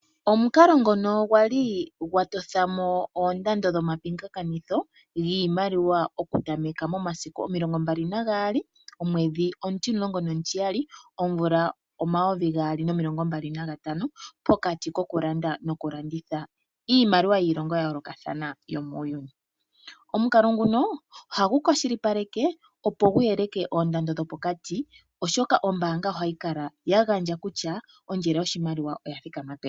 Omukalo ngono gwa li gwa totha mo oondando dhomapingakanitho dhiimaliwa okutameka momasiku omilongo mbali nagaali, omwedhi omutimulongo nomutiyali omvula omayovi gaali nomilongo mbali nantano pokati kokulanda nokulanditha iimaliwa yiilongo ya yoolokathana yomuuyuni. Omukalo nguno ohagu kwashilipaleke, opo gu yeleke oondando dhopokati, oshoka ombaanga ohayi kala ya gandja kutya ondjele yoshimaliwa oya thikama peni.